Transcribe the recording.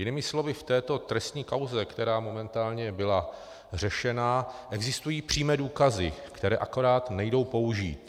Jinými slovy, v této trestní kauze, která momentálně byla řešena, existují přímé důkazy, které akorát nejdou použít.